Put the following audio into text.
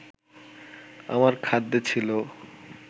আমার খাদ্যে ছিল